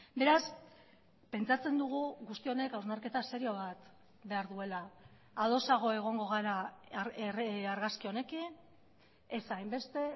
beraz pentsatzen dugu guzti honek hausnarketa serio bat behar duela adosago egongo gara argazki honekin ez hainbeste